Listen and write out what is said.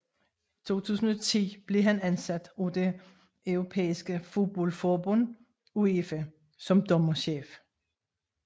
I 2010 blev han ansat af det europæiske fodboldforbund UEFA som dommerchef